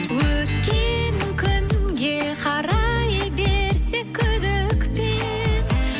өткен күнге қарай берсек күдікпен